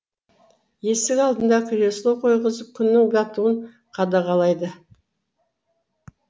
есік алдына кресло қойғызып күннің батуын қадағалайды